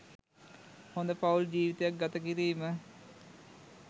හොඳ පවුල් ජීවිතයක් ගත කිරීම